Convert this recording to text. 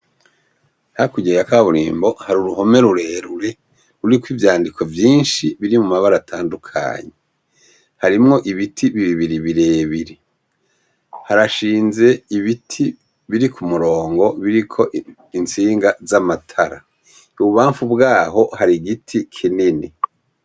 Hakurya ya kaburimbo, har’uruhome rurerure ruriko ivyandiko vyinshi biri mu mabara atandukanye, harimwo ibiti bibibiri birebire, harashinze ibiti biri ku murongo biriko itsinga z'amatara, ububamfu bwaho hari giti kinini.